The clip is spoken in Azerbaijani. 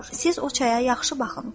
Siz o çaya yaxşı baxın.